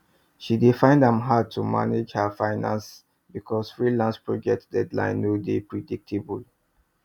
she dey find am hard to manage her finances because freelance project deadlines no dey predictable